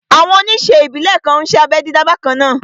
Àwọn oníṣe ìbílè kan n ṣé abẹ́ dídá bakanna